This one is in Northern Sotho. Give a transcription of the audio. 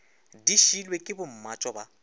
di šiilwe ke bommatšo ba